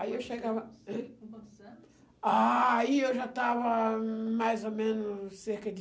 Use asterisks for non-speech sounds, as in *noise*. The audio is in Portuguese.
Aí eu chegava... *unintelligible* quantos anos? Ah, aí eu já estava mais ou menos cerca de...